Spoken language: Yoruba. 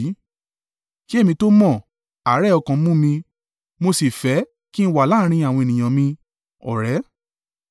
Kí èmi tó mọ̀, àárẹ̀ ọkàn mú mi, mo sì fẹ́ kí ń wà láàrín àwọn ènìyàn mi.